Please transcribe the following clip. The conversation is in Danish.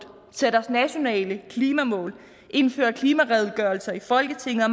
satte os nationale klimamål indførte klimaredegørelser i folketinget og